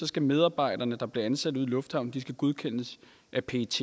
skal medarbejdere der bliver ansat ude i lufthavnen godkendes af pet